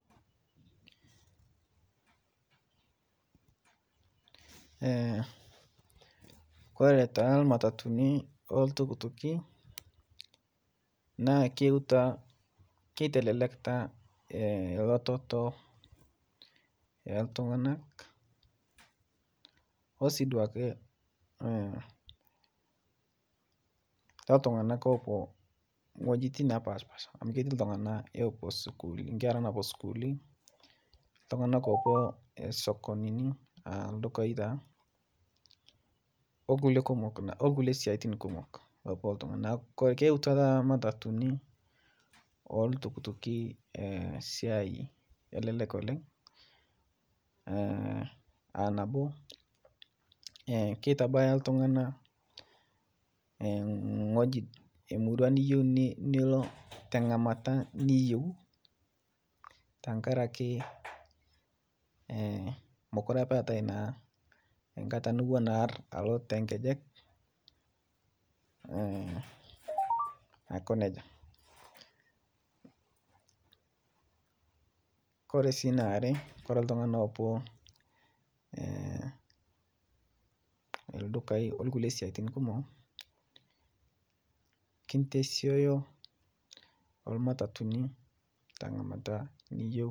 kore taa matatuni oo ltuktuki naa keyeutua keitelelekta lototo eltunganak osii duake toltunganak epuo nghojitin napashpaasha amu keti ltungana epuo sukuuli nkera napuo sukuuli ltungana epuo sokonini aah ldukai taa olkulie kumok olkulie siatin kumok loopuo ltunganak keyeutua taata matatuni oltuktukii siai olelek oleng aa nabo keitabaya ltungana nghoji emurua niyeu nilo tangamata niyeu tankarakee mokuree apaa eatai naa nkata niwon aar aloo te nkejek aiko nejaa kore sii naare kore ltungana epuo ldukai olkulie siatin kumok kintesioyo olmatatuni tangamata niyeu